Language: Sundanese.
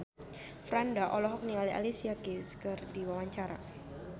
Franda olohok ningali Alicia Keys keur diwawancara